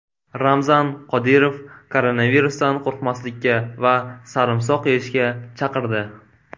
Ramzan Qodirov koronavirusdan qo‘rqmaslikka va sarimsoq yeyishga chaqirdi.